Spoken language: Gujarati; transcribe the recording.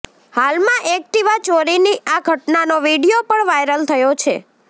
હાલમાં એક્ટિવા ચોરીની આ ઘટનાનો વિડિઓ પણ વાઇરલ થયો છે